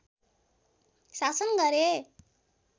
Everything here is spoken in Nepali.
शासन गरे